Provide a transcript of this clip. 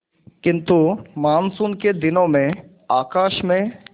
किंतु मानसून के दिनों में आकाश में